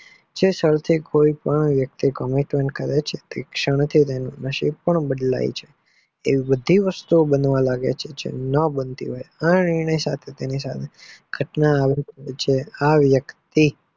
જે ક્ષણે કોઈ પણ વ્યક્તિ commentment કરે છે ને તે શણ થી તેનું નશીબ બ બદલાય છે જે વસ્તુ ભી બનવા લાગે છે જે ના બનતી હોય આ એની સાથે ઘટના બને છે આ વ્યક્તિ